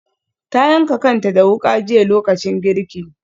Ta yanka kanta da wuka jiya lokacin girki.